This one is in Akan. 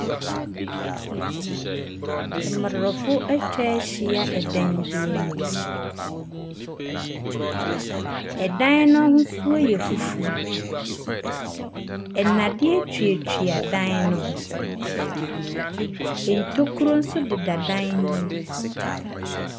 Mmrahyɛbedwafoɔ ahyiam wɔ mmrahyɛbadwafie. Asrafoɔ abegu mmarahyɛbedwafie. Mmrahyɛbedwafoɔ dodoɔ no ara hyɛ ataare fufuo. Ebinom nso hyɛ ataare tuntum. Mmrahyɛbedwafoɔ dodoɔ no ara asɔre gyina wɔn nan so. Wɔhyehyɛ nneɛma a ɛkatakata wɔn nhwene.